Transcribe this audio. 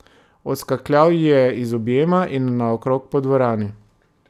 Odskakljal ji je iz objema in naokrog po dvorani.